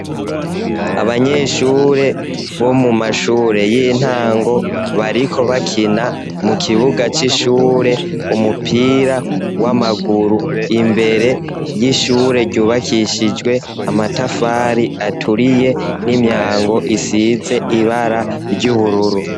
Abanyeshure bo mu mashure y'intango, bariko bakina mu kibuga c'ishure umupira w'amaguru. Imbere y'ishure ryubakishijwe amatafari aturiye n'imyango isize ibara ry'ubururu.